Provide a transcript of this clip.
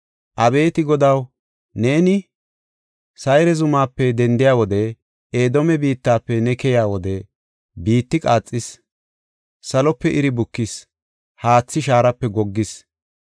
Abeeti Godaw, neeni Sayre zumaape dendiya wode, Edoome biittafe ne keyiya wode, biitti qaaxis; Salope iri bukis; haathi shaarape goggis.